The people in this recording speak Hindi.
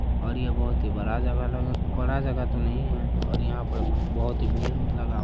और यह बहुत ही बड़ा जगह लग बड़ा जगह तो नही है और यहां पर बहुत ही भीड़-वीड़ लगा --